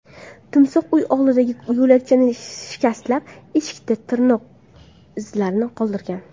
Timsoh uy oldidagi yo‘lakchani shikastlab, eshikda tirnoq izlarini qoldirgan.